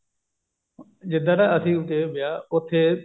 ਜਿੱਧਰ ਅਸੀਂ ਗਏ ਵਿਆਹ ਉੱਥੇ